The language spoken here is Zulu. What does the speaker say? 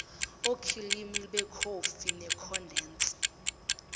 okhilimu bekhofi nekhondensi